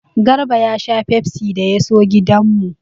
Garba ya sha fefsi da ya so gidan mu.